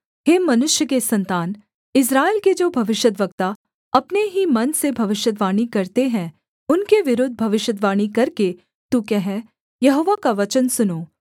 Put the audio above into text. हे मनुष्य के सन्तान इस्राएल के जो भविष्यद्वक्ता अपने ही मन से भविष्यद्वाणी करते हैं उनके विरुद्ध भविष्यद्वाणी करके तू कह यहोवा का वचन सुनो